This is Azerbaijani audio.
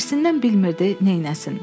Hirssindən bilmirdi neyləsin.